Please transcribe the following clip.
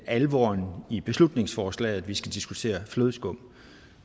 alvoren i beslutningsforslaget at vi skal diskutere flødeskum